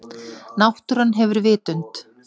Náttúran hefur vitund.